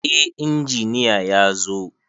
Eh, injiniya yazo